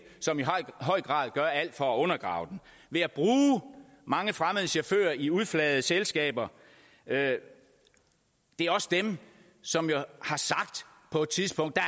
som i høj grad gør alt for at undergrave den ved at bruge mange fremmede chauffører i udflagede selskaber det er også dem som jo har sagt på et tidspunkt at